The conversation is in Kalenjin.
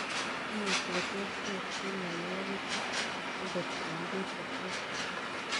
Imuchii koterterchin mioninwogii chuu angot eng piik chetupcho.